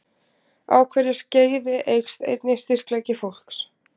Á hverju skeiði eykst einnig styrkleiki fólks.